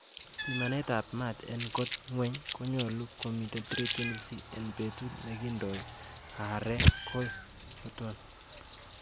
Pimanetab ab maat en got ngweny konyolu komiten 320c en betut nekindoi aare go oton.